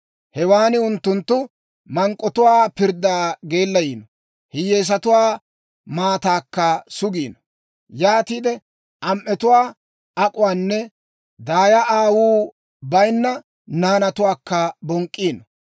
Hewaan unttunttu mank'k'otuwaa pirddaa geellayiino; hiyyeesatuwaa maataakka sugiino. Yaatiide am"etuwaa ak'uwaanne aatta aawuu bayinna naanatuwaakka bonk'k'iino.